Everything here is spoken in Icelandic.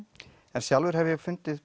en sjálfur hef ég fundið